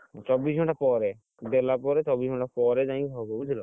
ଚବିସି ଘଣ୍ଟା ପରେ, ଦେଲା ପରେ ଚବିସି ଘଣ୍ଟା ପରେ ଯାଇକି ହବ ବୁଝିଲ।